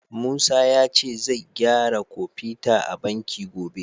Musa ya ce zai gyara kofita a banki gobe.